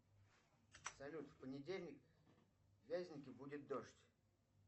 салют в понедельник в вязенке будет дождь